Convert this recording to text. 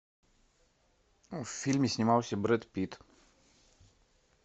в фильме снимался брэд питт